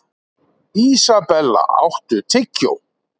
Isabella, áttu tyggjó?